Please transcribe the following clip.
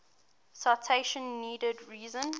citation needed reason